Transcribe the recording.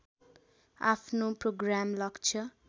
आफ्नो प्रोग्राम लक्ष्य